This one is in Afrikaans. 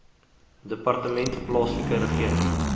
departement plaaslike regering